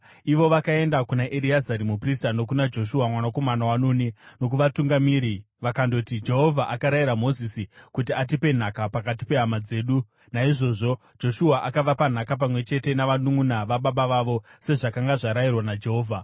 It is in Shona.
Ivo vakaenda kuna Ereazari muprista nokuna Joshua mwanakomana waNuni, nokuvatungamiri vakandoti, “Jehovha akarayira Mozisi kuti atipe nhaka pakati pehama dzedu.” Naizvozvo Joshua akavapa nhaka pamwe chete navanunʼuna vababa vavo, sezvakanga zvarayirwa naJehovha.